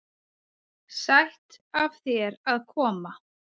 Sætt af þér að koma.